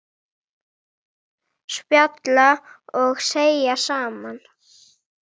Spjalla og þegja saman.